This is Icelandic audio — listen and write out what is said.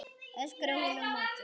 öskraði hún á móti.